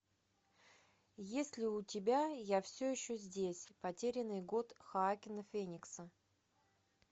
есть ли у тебя я все еще здесь потерянный год хоакина феникса